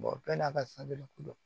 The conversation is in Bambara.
bɛɛ n'a ka ko don